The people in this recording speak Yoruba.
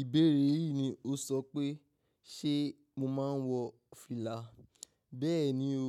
Ìbéèrè yìí ni o sọ pé, ṣe mo máa ń wọ fìlà? Bẹ́ẹ̀ ni o,